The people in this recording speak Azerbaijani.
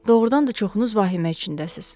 Doğrudan da çoxunuz vahimə içindəsiz.